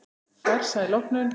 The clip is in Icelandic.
Farsæl opnun.